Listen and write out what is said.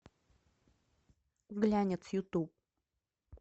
глянец ютуб